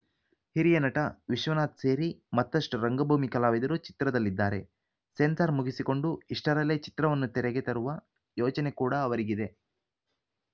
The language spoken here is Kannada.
ಹಿರಿಯ ನಟ ವಿಶ್ವನಾಥ್‌ ಸೇರಿ ಮತ್ತಷ್ಟುರಂಗಭೂಮಿ ಕಲಾವಿದರು ಚಿತ್ರದಲ್ಲಿದ್ದಾರೆ ಸೆನ್ಸಾರ್‌ ಮುಗಿಸಿಕೊಂಡು ಇಷ್ಟರಲ್ಲೇ ಚಿತ್ರವನ್ನು ತೆರೆಗೆ ತರುವ ಯೋಚನೆ ಕೂಡ ಅವರಿಗಿದೆ